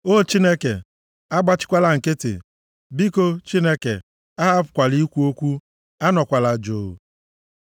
O! Chineke agbachikwala nkịtị. Biko, Chineke, ahapụkwala ikwu okwu, anọkwala jụụ.